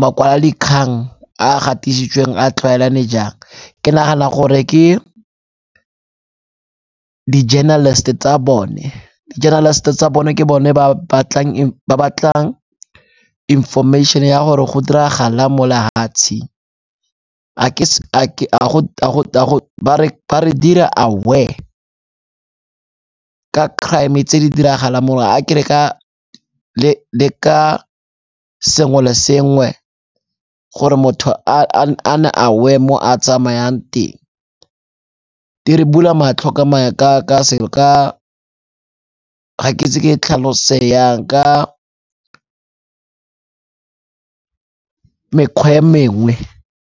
makwalodikgang a a gatisitsweng a tlwaelane jang. Ke nagana gore ke di-journalist-e tsa bone, di-journalist-e tsa bone ke bone ba batlang information-e ya gore go diragalang mo lehatsheng. Ba re dira aware ka crime tse di diragalang mo, a ke re ka, le ka sengwe le sengwe gore motho a nne aware mo a tsamayang teng. Di re bula matlho ka, ga ke itse ke e tlhalose yang ka mekgwa e mengwe.